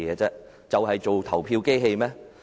是做投票機器嗎？